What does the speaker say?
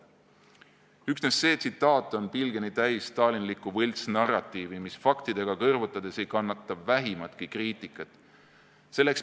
" Üksnes see tsitaat on pilgeni täis stalinlikku võltsnarratiivi, mis faktidega kõrvutades ei kannata vähimatki kriitikat.